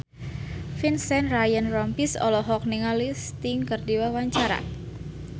Vincent Ryan Rompies olohok ningali Sting keur diwawancara